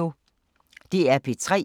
DR P3